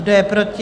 Kdo je proti?